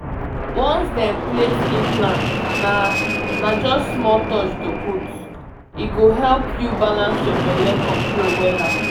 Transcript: um talk about implant e fit affect how your period go com but e um go still help you dodge those daily reminders you know um.